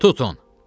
Tutun!